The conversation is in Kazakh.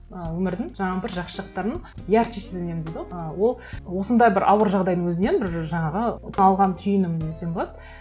ы өмірдің жаңағы бір жақсы жақтарын ярче сезінемін дейді ғой ы ол осындай бір ауыр жағдайдың өзінен бір жаңағы алған түйінім десем болады